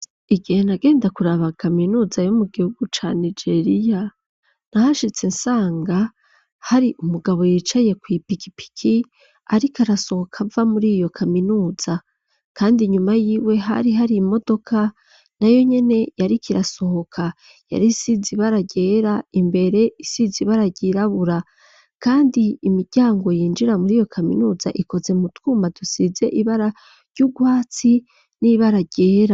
Igihe nagenda kuraba kaminuza yo mu gihugu ca Nigeria nahashitse nsanga hari umugabo yicaye ku ipikipiki ariko arasohoka ava muri iyo kaminuza kandi inyuma yiwe hari hari imodoka na yo nyene yari kirasohoka yari isize ibara ryera imbere isize ibara ryirabura kandi imiryango yinjira muri iyo kaminuza ikoze mu twuma dusize ibara ry'urwatsi n'ibara ryera.